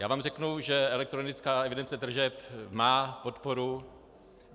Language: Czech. Já vám řeknu, že elektronická evidence tržeb má podporu.